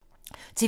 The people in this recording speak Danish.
TV 2